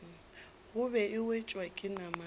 gobe e wetšwa ke namane